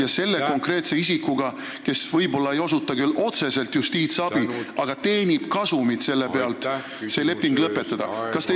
... ja selle konkreetse isikuga, kes võib-olla ei osuta küll otseselt justiitsabi, aga teenib kasumit, leping lõpetada?